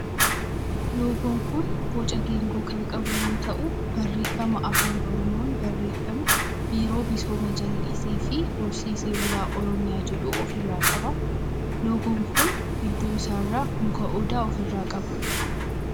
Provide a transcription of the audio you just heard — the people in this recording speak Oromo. Loogoon kun boca geengoo kan qabu yoo ta'u barreeffama afaan oromoon barreeffame biiroo misooma jallisii fi horsiisee bulaa oromiyaa jedhu of irraa qaba. loogoon kun gidduu isaa irraa muka odaa of irraa qaba.